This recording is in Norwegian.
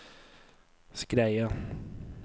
Skreia